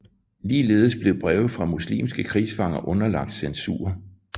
Ligeledes blev breve fra muslimske krigsfanger underlagt censur